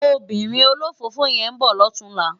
Óbìrín ólófófó yèn n bò lòtúnlá